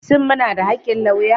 Shin muna da haƙƙin lauya?